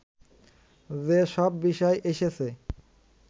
যে সব বিষয় এসেছে